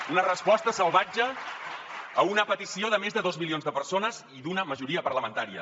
una resposta salvatge a una petició de més de dos milions de persones i d’una majoria parlamentària